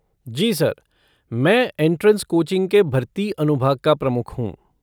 जी sir, मैं entrance coaching के भर्ती अनुभाग का प्रमुख हूँ।